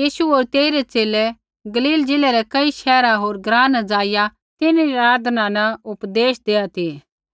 यीशु होर तेइरै च़ेले गलील ज़िलै रै कई शहर होर ग्राँ न ज़ाइआ तिन्हरी आराधनालय न उपदेश देआ ती